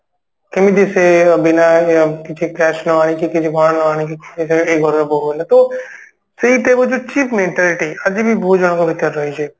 କେମିତି ସିଏ ଅ ବିନା କିଛି cash ନ ଆଣିକି କିଛି ନ ଆଣିକି ଘରର ବୋହୁ ହେଲା ତୋ ସେଇଟା ହଉଛି cheap mentality ଆଜିବି ବହୁତ ଜଣଙ୍କ ଭିତରେ ରହିଛି